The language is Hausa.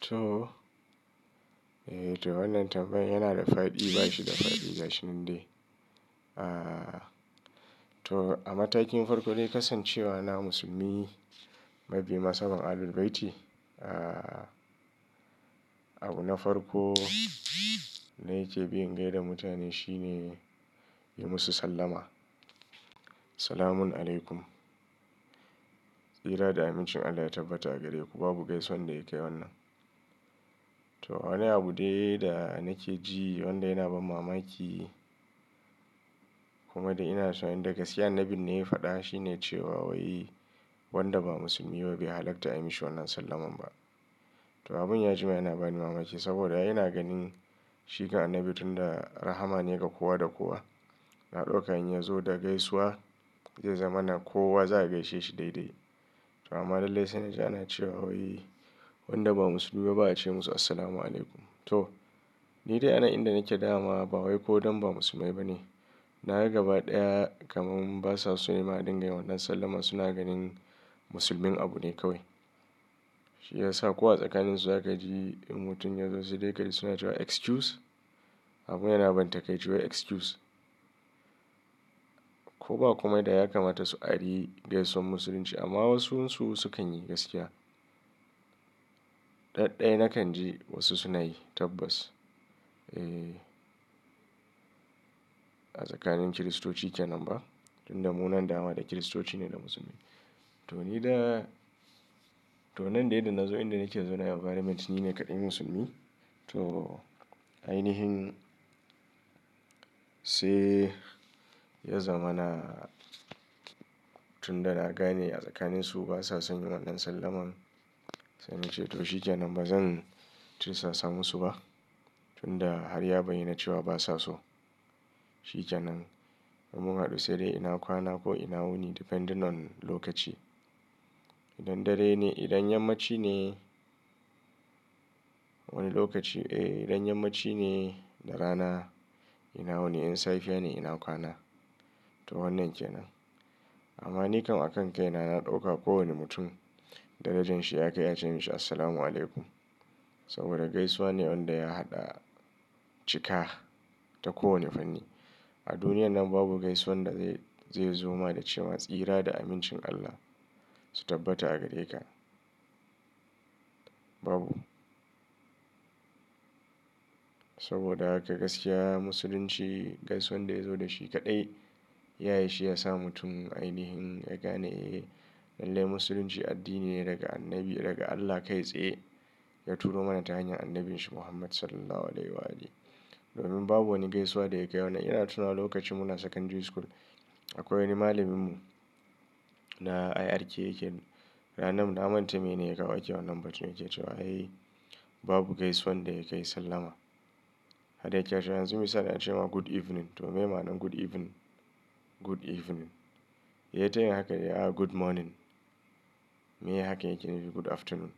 To. Eh to wannan tambayan yana da fadi, bashi da fadi, ba shi nan dai. Ah, to a matakin farko dai kasancewa na musulmi mabiyin nasaban Ahlul Bayti. Ah, abu na farko da yake bin gaida mutane shine yi musu sallama. Assalamualaikum tsira da amincin Allah ya tabbata a gare ku babu gaisuwan da ya kai wannan. To wani abu dai da nake ji wanda yana bani mamaki kuma da ina so in dagasiya annabi ne ya faɗa. Shi ne cewa wai wanda ba musulmi ba bai halatta a yi mishi wannan sallamar ba. To abun ya jima yana bani mamaki saboda yana ganin shikan annabi tun da rahama ne ga kowa da kowa. Na ɗauka in ya zo da gaisuwa zai zama na kowa za a gaishe shi daidai. To amma lallai sai na ji ana cewa wai wanda ba musulmi ba ba a ce musu Assalamualaikum. To ni dai a nan inda nake da dama ba wai ko dan ba musulmai ba ne. Nafa gaba ɗaya kamar basa so nema dinga yin wannan sallamar suna ganin musulmin abu ne kawai. Shi ya sa kowa tsakaninsu za ka ji in mutum ya zo sai dai ka ji suna cewa excuse. Abun yana ban takaici wai excuse. Ko ba kuma da ya kamata su ari gaisuwan musulunci amma wasu su sukanyi gaskiya. Daɗɗaya na kan ji wasu suna yi tabbas. Eh, a tsakanin Kiristoci kenan ba. Tun da munan da wa da Kiristoci ne da musulmi. To ni dai to nan dai da nazo inda nake da su na environment nine kaɗai musulmi. To ainihin sai ya zama na tun da na gane a tsakaninsu basa son yin wannan sallamar. Sai nace to shikenan bazan tursa sa musu ba. Tun da har ya baiyana cewa basa so. Shije nan in mun haɗu sai dai ina kwana ko ina wuni depending on lokaci. Idan dare ne, idan yammaci ne wani lokaci. Eh idan yammaci ne da rana ina wuni in safiya ne ina kwana. To wannan kenan. Amma ni kan a kan kai na na ɗauka kowane mutum darajanshi ya kai a ce mishi Assalamualaikum. Saboda gaisuwa ne wanda ya haɗa cika ta kowane fanni. A duniyan nan babu gaisuwan da zai zoma da cewa tsira da amincin Allah su tabbata a gare ka. Babu. Saboda haka gaskiya musulunci gaisuwan da ya zo da shi kaɗai yayi shi ya sa mutum ainihin ya gane eh lallai musulunci addini ne daga annabi daga Allah kai tsaye. Ya turo mana ta hanyar annabinsa Muhammad Sallallahu Alaihi Wasallam. Domin babu wani gaisuwa da ya kai wannan. Ina tunawa lokacin muna secondary school akwai wani malamin mu na IRK yake. Ranar mu na manta me ne ya kawo ake wannan batun yake cewa ai babu gaisuwan da ya kai sallama. Hada yake cewa yanzu misali a ce ma good evening to me ma'anar good evening? Good evening. Ya tayi haka ya good morning. Meya hakan yake nufi good afternoon.